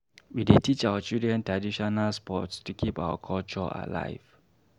We dey teach our children traditional sports to keep our culture alive.